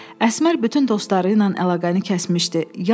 Əsmər bütün dostları ilə əlaqəni kəsmişdi.